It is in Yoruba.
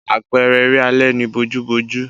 Àpẹẹrẹ eré alẹ́ ni bojúbojú.